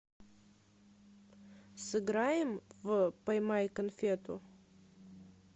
сыграем в поймай конфету